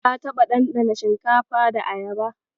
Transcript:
Ka taɓa ɗanɗana shinkafa da Ayaba?